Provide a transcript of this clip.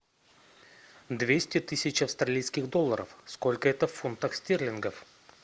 двести тысяч австралийских долларов сколько это в фунтах стерлингов